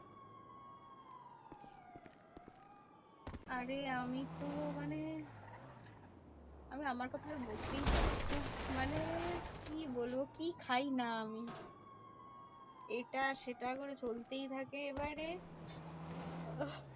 আরে আমি তো মানে আমি আমার কথাটা বলতেই পারছি না। মানে কি বলবো? কি খাইনা আমি? এটা সেটা করে চলতেই থাকে। এবারে আহ